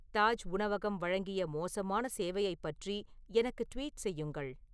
தாஜ் உணவகம் வழங்கிய மோசமான சேவையைப் பற்றி எனக்கு ட்வீட் செய்யுங்கள்